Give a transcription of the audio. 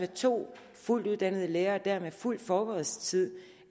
to fuldt uddannede lærere med fuld forberedelsestid